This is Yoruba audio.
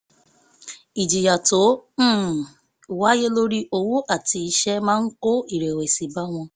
ìjìyà tó um wáyé lórí owó àti iṣẹ́ máa ń kó ìrẹ̀wẹ̀sì bá wọn